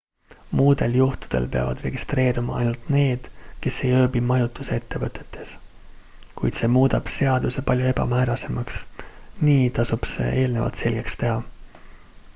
muudel juhtudel peavad registreeruma ainult need kes ei ööbi majutusettevõtetes kuid see muudab seaduse palju ebamäärasemaks nii tasub see eelnevalt selgeks teha